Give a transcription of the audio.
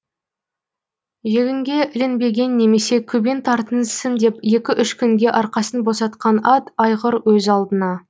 жегінге ілінбеген немесе көбең тартынсын деп екі үш күнге арқасын босатқан ат айғыр өз алдыңа